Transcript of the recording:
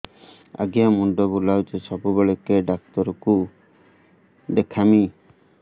ଆଜ୍ଞା ମୁଣ୍ଡ ବୁଲାଉଛି ସବୁବେଳେ କେ ଡାକ୍ତର କୁ ଦେଖାମି